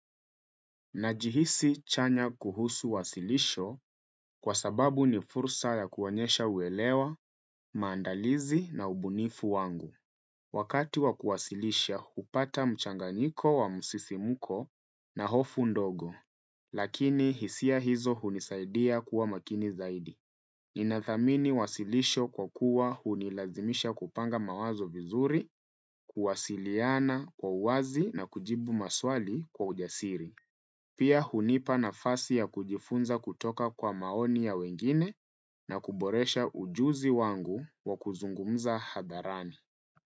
Najihisi chanya kuhusu uwasilisho kwa sababu ni fursa ya kuonyesha uelewa, maandalizi na ubunifu wangu. Wakati wa kuwasilisha hupata mchanganyiko wa msisimko na hofu ndogo. Lakini hisia hizo hunisaidia kuwa maakini zaidi. Ninathamini wasilisho kwa kuwa hunilazimisha kupanga mawazo vizuri, kuwasiliana kwa uwazi na kujibu maswali kwa ujasiri. Pia hunipa nafasi ya kujifunza kutoka kwa maoni ya wengine na kuboresha ujuzi wangu wa kuzungumza hadharani.